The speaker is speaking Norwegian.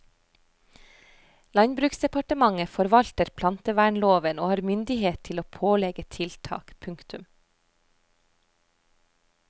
Landbruksdepartementet forvalter plantevernloven og har myndighet til å pålegge tiltak. punktum